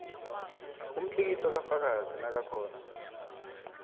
umtlikitlo kafakazi nakakhona